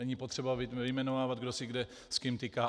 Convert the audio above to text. Není potřeba vyjmenovávat, kdo si kde s kým tyká.